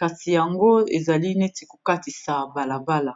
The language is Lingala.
kasi yango ezali neti kokatisa balabala